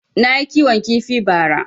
Nayi kiwon kifi ba ra